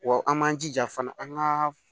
Wa an m'an jija fana an ka